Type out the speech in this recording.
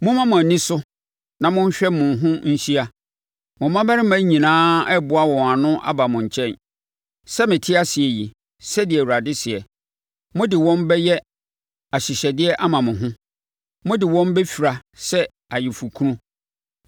Momma mo ani so na monhwɛ mo ho nhyia; mo mmammarima nyinaa reboa wɔn ho ano aba mo nkyɛn. Sɛ mete ase yi” sɛdeɛ Awurade seɛ, “mode wɔn bɛyɛ ahyehyɛdeɛ ama mo ho mode wɔn bɛfira sɛ ayeforɔkunu.